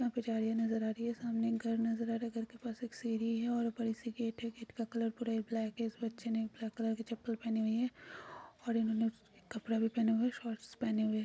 यहाँ पर झाड़ियाँ नजर आ रही है सामने एक घर नज़र आ रहा है घर के पास एक सीढ़ी है और ऊपर एक सिक्योरिटी गेट का कलर पुरा ब्लैक है इस बच्चे ने ब्लैक कलर की चप्पल पहने हुए है और इन्होंने कपड़े भी पहने हुए हैं शॉर्ट्स पहनें हुए हैं।